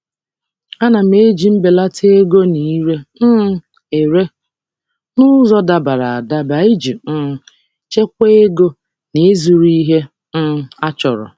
M na-eji ego mbelata na ire ere n'ụzọ dabara adaba iji chekwaa ego na ihe ndị dị mkpa.